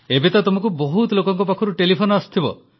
ଏବେ ତ ତୁମକୁ ବହୁତ ଲୋକଙ୍କ ପାଖରୁ ଟେଲିଫୋନ ଆସୁଥିବ